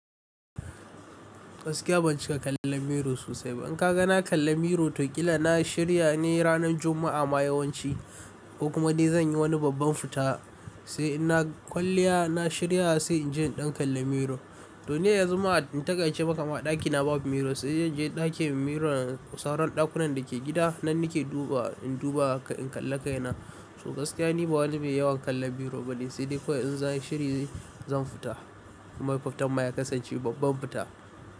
Gaskiya ban cika kallon miro sosai ba. In ka ga na kalla miro, to ƙila na shirya ne ranar Juma'a ma yawanci ko kuma dai zan yi wani babban fita, sai in na kwalliya na shirya sai inji in ɗan kalla miro. To, ne ya zama in takaice ba kama ɗakina babu miro sai in je ɗakin miro na sauran ɗakunan da ke gida nan nake duba in duba in kalla kaina. To gaskiya ni ba wani mai yawan kallon miro bane sai dai kawai in zan yi shiri zan fita. Mai fada ma ya kasance babban fita.